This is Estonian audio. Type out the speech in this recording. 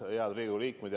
Head Riigikogu liikmed!